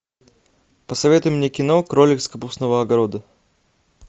посоветуй мне кино кролик с капустного огорода